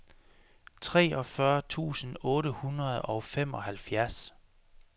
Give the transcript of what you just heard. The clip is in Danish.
treogfyrre tusind otte hundrede og femoghalvfjerds